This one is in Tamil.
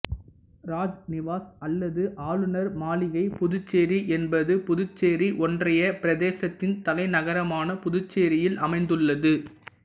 ராஜ் நிவாஸ் அல்லது ஆளுநர் மாளிகை புதுச்சேரி என்பது புதுச்சேரி ஒன்றிய பிரதேசத்தின் தலைநகரமான புதுச்சேரியில் அமைந்துள்ளது